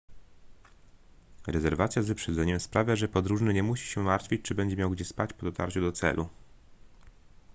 rezerwacja z wyprzedzeniem sprawia że podróżny nie musi się martwić czy będzie miał gdzie spać po dotarciu do celu